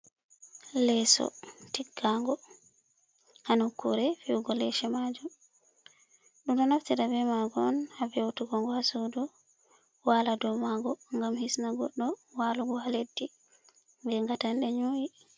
Leeso tiggago hanokkure fiyudogo leece maajuum, ɗum ɗo naftira be maago on ha ve'utuge ngo ha suudu, wala dou maago gam hisna goɗɗo walugo ha leddi be gatanɗe nƴu'ii.